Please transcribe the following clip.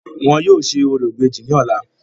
Wọn yóò ṣe orò ìbejì ní ọ̀la.